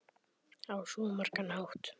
Á svo margan hátt.